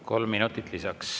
Kolm minutit lisaks.